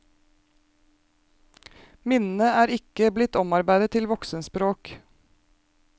Minnene er ikke blitt omarbeidet til voksenspråk.